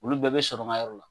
Olu bɛɛ bɛ sɔrɔ n ka yɔrɔ la